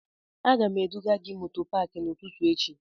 Aga m eduga gị moto paakị n'ụtụtụ echi